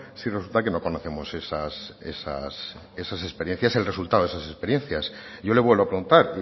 si resulta que no conocemos el resultado de esas experiencias yo le vuelvo a preguntar